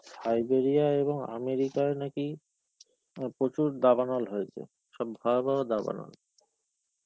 Siberia এবং America য় নাকি, প্রচুর দাবানল হয়েছে. সব ভয়াবহ দাবানল.